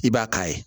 I b'a k'a ye